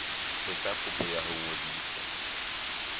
etsa kopo ya ho ngodisa